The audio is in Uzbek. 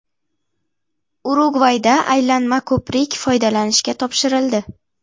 Urugvayda aylanma ko‘prik foydalanishga topshirildi .